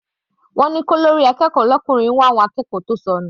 Wọ́n ní kí olórí akẹ́kọ̀ọ́ l'ọkùnrin wá àwọn akẹ́kọ̀ọ́ tó sọnù.